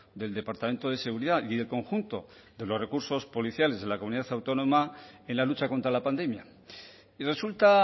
del departamento de seguridad y del conjunto de los recursos policiales de la comunidad autónoma en la lucha contra la pandemia y resulta